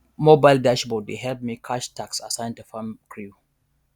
mobile dashboard dey help me cash task assign to farm crew